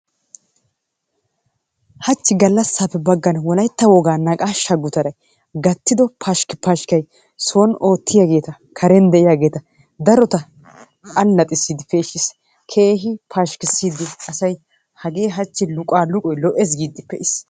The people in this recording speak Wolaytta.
Hachi galasappe bagan wolayttaa woga naqaasha gutaray gattido pashikpashikaay sooni otiyaagettaa garenni ottiyagettaa darotta alaxissidi peshisi kehi pashikisidi asaay hagee haachi luqaa luqqaluqqoy lo'ees gidi pe'es.